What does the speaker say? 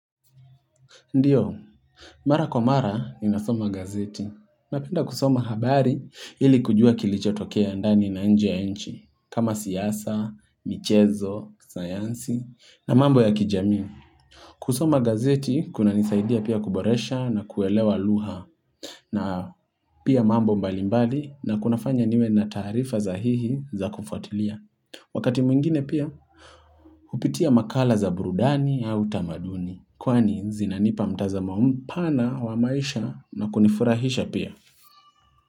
Ndio, mara kwa mara ninasoma gazeti. Napenda kusoma habari ili kujua kilicho tokea ndani na nje nchi. Kama siasa, michezo, sayansi, na mambo ya kijami. Kusoma gazeti, kunanisaidia pia kuboresha na kuelewa lugha. Na pia mambo mbali mbali na kunafanya niwe na taarifa za hihi za kufatilia. Wakati mwingine pia, hupitia makala za burudani au utamaduni. Kwani zinanipa mtazamo mpana wa maisha na kunifurahisha pia.